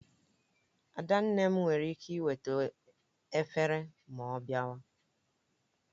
Adanne m were ike eweta efere ma ọ biawa